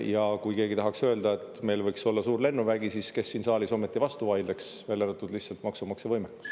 Ja kui keegi tahaks öelda, et meil võiks olla suur lennuvägi, siis kes siin saalis ometi vastu vaidleks – lihtsalt maksumaksja võimekus.